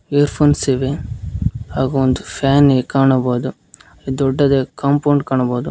Earphones ಇವೆ ಹಾಗೂ ಒಂದು ಫ್ಯಾನ್ ಗೆ ಕಾಣಬೋದು ಅ ದೊಡ್ಡದ ಕಂಪೌಂಡ್ ಕಾಣಬೋದು.